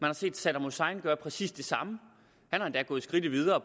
har set saddam hussein gøre præcis det samme han er endda gået skridtet videre og